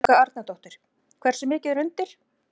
Helga Arnardóttir: Hversu mikið er undir?